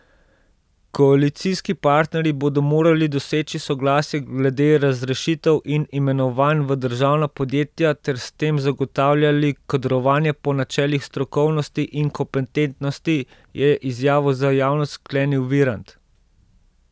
Koalicijski partnerji bodo morali doseči soglasje glede razrešitev in imenovanj v državna podjetja ter s tem zagotavljali kadrovanje po načelih strokovnosti in kompetentnosti, je izjavo za javnost sklenil Virant.